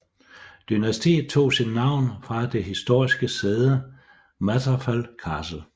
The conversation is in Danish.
Dynastiet tog sit navn fra det historiske sæde Mathrafal Castle